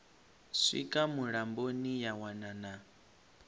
swika mulamboni ya wana na